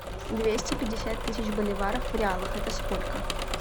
двести пятьдесят тысяч боливаров в реалах это сколько